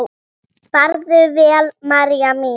Farðu vel, María mín.